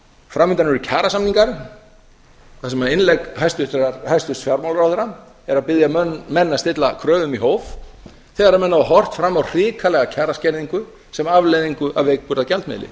fram undan eru kjarasamningar þar sem innlegg hæstvirts fjármálaráðherra er að biðja menn að stilla kröfum í hóf þegar menn hafa horft fram á hrikalega kjaraskerðingu sem afleiðingu af veikburða gjaldmiðli